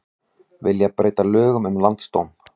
Vilja breyta lögum um landsdóm